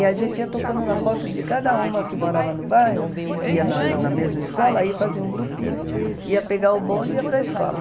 E a gente ia tocando na porta de cada uma que morava no bairro, que ia na na mesma escola, aí fazia um grupinho, ia pegar o bonde e ia para a escola.